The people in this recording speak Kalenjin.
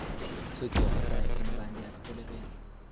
Sokyot netai en bandiat kolepeel